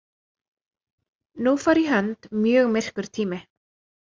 Nú fór í hönd mjög myrkur tími.